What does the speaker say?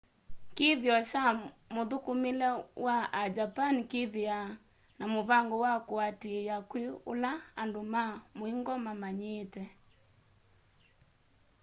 kithio kya mũthũkũmĩle wa a japani kĩthĩawa na mũvango wa kũatĩĩa kwĩ ũla andũ ma mũingo mamanyĩĩte